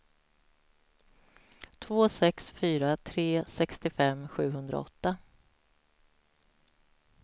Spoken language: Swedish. två sex fyra tre sextiofem sjuhundraåtta